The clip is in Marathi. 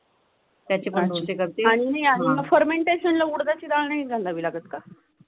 फर्मंटेशनला उडीधाची डाळ नाही घालावे लागत का?